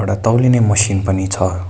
एउडा तौलिने मसिन पनि छ।